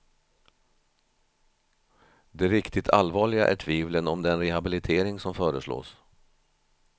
Det riktigt allvarliga är tvivlen om den rehabilitering som föreslås.